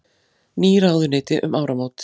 Ný ráðuneyti um áramót